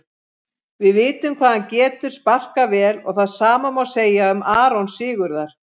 Við vitum hvað hann getur sparkað vel og það sama má segja um Aron Sigurðar.